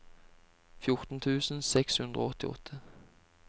fjorten tusen seks hundre og åttiåtte